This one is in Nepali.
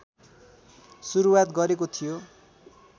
सुरुआत गरेको थियो